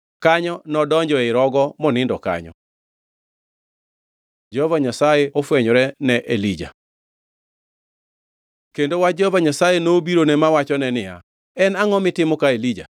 Kanyo nodonjo ei rogo monindo kanyo. Jehova Nyasaye ofwenyore ne Elija Kendo wach Jehova Nyasaye nobirone mawachone niya, “En angʼo mitimo ka, Elija?”